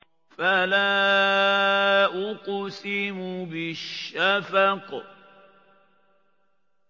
فَلَا أُقْسِمُ بِالشَّفَقِ